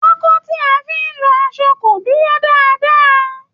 Pákó tí a fi ń lọ aṣọ kò dúró dáadáa.